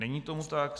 Není tomu tak.